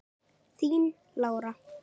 Þín Lára.